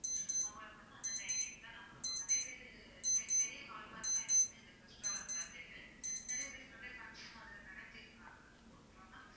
அவங்களுக்கு வந்து அந்த timing தான் நாங்க குடுப்போம் நிறைய பேரு பெ~ பெரிய hall மாதிரி தான் இருக்கும் எங்க restaurant ல அந்த இது நிறைய பேர் நிறைய function ம் அதுல நடத்தி இருக்காங்க okay வா ma'am